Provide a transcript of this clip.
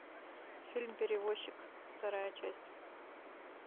фильм перевозчик вторая часть